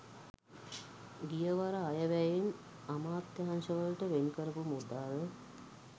ගියවර අයවැයෙන් අමාත්‍යාංශවලට වෙන්කරපු මුදල්